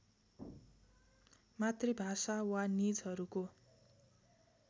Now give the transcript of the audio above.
मातृभाषा वा निजहरूको